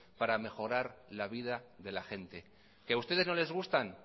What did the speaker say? para mejorar la vida de la gente qué a ustedes no les gustan